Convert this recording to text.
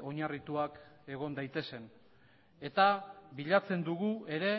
oinarrituak egon daitezen eta bilatzen dugu ere